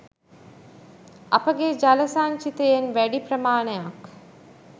අපගේ ජල සංචිතයෙන් වැඩි ප්‍රමාණයක්